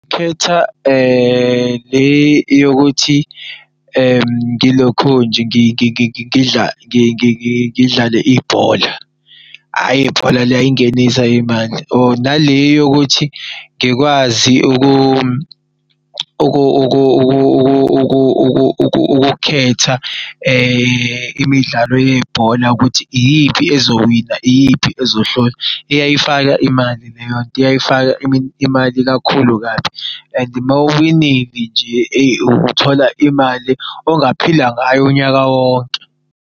Khetha le yokuthi ngilokhunje ngidlale ibhola hhayi ibhola liyayingenisa imali or nale yokuthi ngikwazi ukukhetha imidlalo yebhola ukuthi iyiphi ezowina iyiphi ezohlulwa, iyayifaka imali leyonto iyayifaka imali kakhulu kabi. And maw'winile nje, eyi uthola imali ongaphila ngayo unyaka wonke.